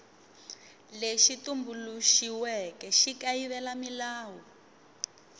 lexi tumbuluxiweke xi kayivela milawu